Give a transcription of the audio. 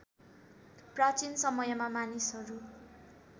प्राचीन समयमा मानिसहरू